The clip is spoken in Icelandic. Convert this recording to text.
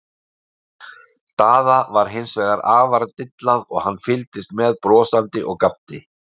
Daða var hins vegar afar dillað og hann fylgdist með brosandi og gapti.